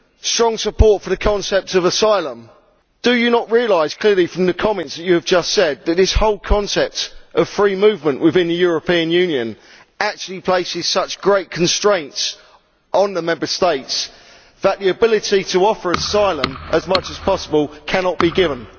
strong support for the concept of asylum do you not realise clearly from the comments you have just made that this whole concept of free movement within the European Union actually places such great constraints on the Member States that the ability to offer asylum as much as possible cannot be given?